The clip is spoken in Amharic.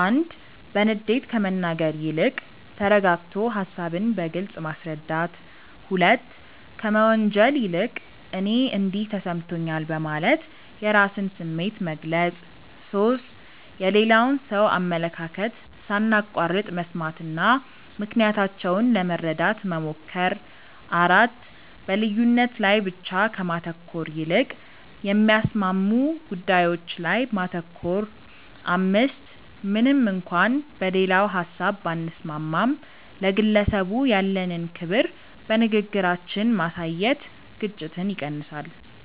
1. በንዴት ከመናገር ይልቅ ተረጋግቶ ሃሳብን በግልጽ ማስረዳት። 2. ከመወንጀል ይልቅ "እኔ እንዲህ ተሰምቶኛል" በማለት የራስን ስሜት መግለጽ። 3. የሌላውን ሰው አመለካከት ሳናቋርጥ መስማትና ምክንያታቸውን ለመረዳት መሞከር። 4. በልዩነት ላይ ብቻ ከማተኮር ይልቅ የሚያስማሙ ጉዳዮች ላይ ማተኮር። 5. ምንም እንኳን በሌላው ሀሳብ ባንስማማም፣ ለግለሰቡ ያለንን ክብር በንግግራችን ማሳየት ግጭትን ይቀንሳል።